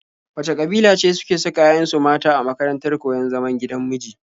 Wace ƙabila ce suke saka 'ya'yanu mata a makarantar koyon zaman gidan miji?